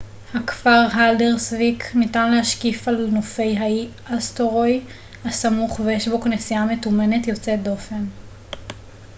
nהכפר הלדרסוויק ניתן להשקיף על נופי האי אסטורוי הסמוך ויש בו כנסייה מתומנת יוצאת דופן